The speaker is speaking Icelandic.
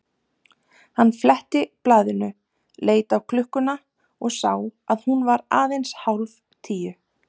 Hann fletti blaðinu, leit á klukkuna og sá að hún var aðeins hálf tíu.